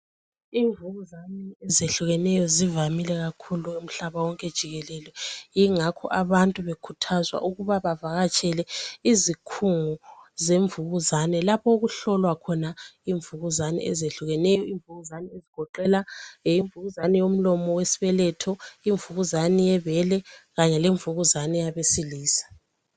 Imvukuzane ezehlukeneyo zivamile kakhulu umhlaba wonke jikelele ingakho abantu bekhuthazwa ukuba bavakatshele izikhungo zemvukuzane lapho okuhlolwa khona imvukuzane ezehlukeneyo ezigoqela imvukuzane yomlomo wesibeletho, eyebele kanye leyabesilisa.